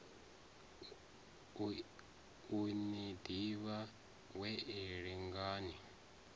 u ni ḓivha wee lingani